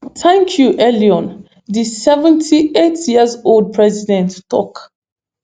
thank you eliyon di seventy-eight years old president tok